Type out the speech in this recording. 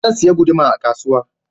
Zan saya guduma a kasuwa